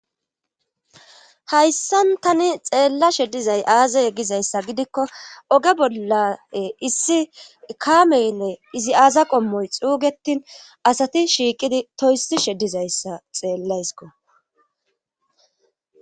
hayssan tani xeella shedizay aaza yeggizayssa gidikko oge bolla issi kaameynne izi aaza qommoy xuugetin asati shiiqidi toyssi sheddizayssa xeellaysko